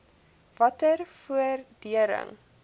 watter vordering